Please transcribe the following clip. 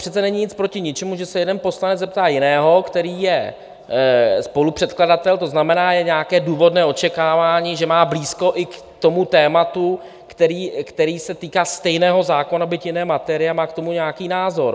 Přece není nic proti ničemu, že se jeden poslanec zeptá jiného, který je spolupředkladatel, to znamená, je nějaké důvodné očekávání, že má blízko i k tomu tématu, které se týká stejného zákona, byť jiné materie, a má k tomu nějaký názor.